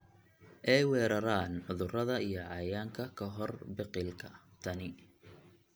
ay weeraraan cudurrada iyo cayayaanka ka hor biqilka. Tani